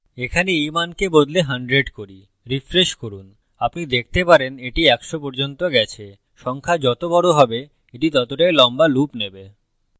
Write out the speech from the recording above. এখানে এই মানকে বদলে 100 করি refresh করুন আপনি দেখতে পারেন এটি একশ পর্যন্ত গেছে সংখ্যা যত বড় হবে এটি ততটাই লম্বা loop নেবে